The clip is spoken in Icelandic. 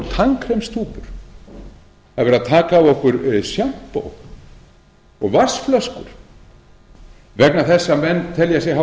af okkur tannkremstúpur það verið að taka af okkur sjampó og vatnsflöskur vegna þess að menn hafa